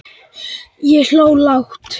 Ég hló lágt.